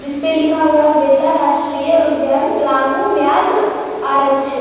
इस पे लिखा हुआ बेतला राष्ट्रीय उद्यान पलामू व्याघ्र आरक्ष--